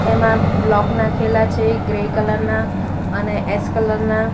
તેમાં બ્લોક નાખેલા છે ગ્રે કલર ના અને એસ કલર ના.